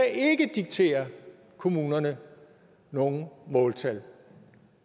diktere kommunerne nogen måltal